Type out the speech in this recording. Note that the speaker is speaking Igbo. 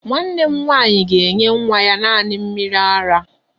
Nwanne m nwaanyị ga-enye nwa ya naanị mmiri ara.